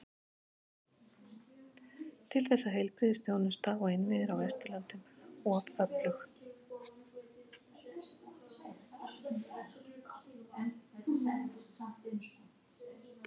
Til þess er heilbrigðisþjónusta og innviðir á Vesturlöndum of öflug.